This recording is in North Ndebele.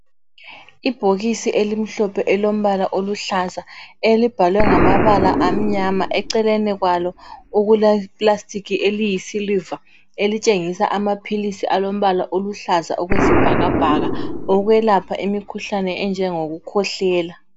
Ibhokisi elimhlophe elilombala oluhlaza elimbalwe ngamabala amnyama eceleni kwalo kuleplastic eliyisiliva elitshengisa amaphilisi alombala oluhlaza okwe sibhakabhaka ukwelapha imikhuhlane enjengokukhwehlela